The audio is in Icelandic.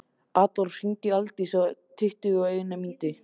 Adólf, hringdu í Aldísi eftir tuttugu og eina mínútur.